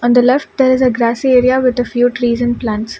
in the left there is a grassy area with a few trees and plants.